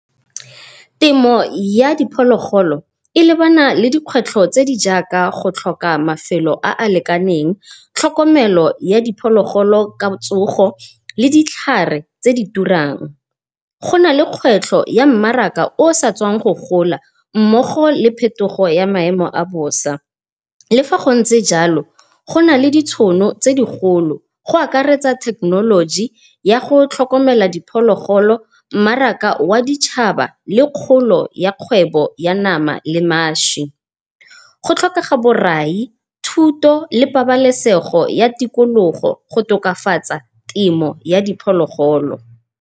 Temo ya diphologolo e lebana le dikgwetlho tse di jaaka go tlhoka mafelo a a lekaneng, tlhokomelo ya diphologolo ka tsogo le ditlhare tse di turang. Gona le kgwetlho ya mmaraka o sa tswang go gola mmogo le phetogo ya maemo a bosa. Le fa go ntse jalo gona le ditšhono tse digolo go akaretsa thekenoloji ya go tlhokomela diphologolo, mmaraka wa ditšhaba le kgolo ya kgwebo ya nama le maši. Go tlhokega borai, thuto le pabalesego ya tikologo go tokafatsa temo ya diphologolo.